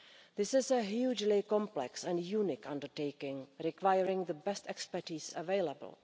This is a hugely complex and unique undertaking requiring the best expertise available.